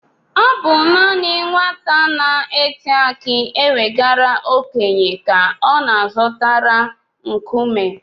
Ọ bụ naanị nwata na-eti aki ewegara okenye ka ọ na-azọtara nkume.